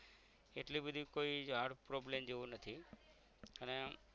એટલી બધી કોઈ hard problem જેવો નથી અને